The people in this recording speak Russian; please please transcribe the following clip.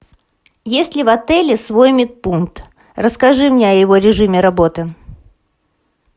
есть ли в отеле свой медпункт расскажи мне о его режиме работы